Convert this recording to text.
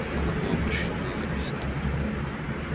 оно было просчитано и записано